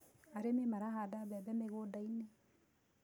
Arĩmĩ marahanda mbembe mĩgũndainĩ